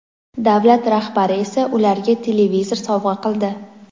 davlat rahbari esa ularga televizor sovg‘a qildi.